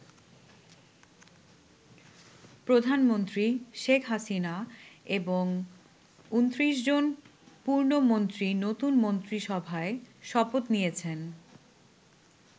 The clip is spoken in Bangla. প্রধানমন্ত্রী শেখ হাসিনা এবং ২৯ জন পূর্ণ মন্ত্রী নতুন মন্ত্রিসভায় শপথ নিয়েছেন।